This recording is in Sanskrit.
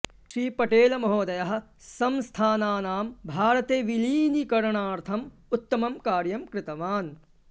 श्री पटेलमहोदयः संस्थानानां भारते विलीनीकरणार्थम् उत्तमं कार्यं कृतवान्